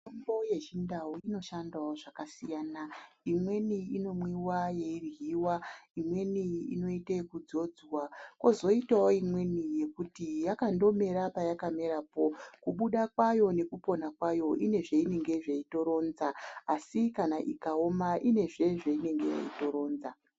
Mitombo yechindau inoshandawo zvakasiyana, imweni inomwiwa yeiryiwa imweni inoite ekudzodzwa kozoitawo imweni yekuti yakandomera payakamerapo kubuda kwayo nekupona kwayo ine zveinenge yeitoronza asi kana ikaoma inezve zveinenge yeitoronza.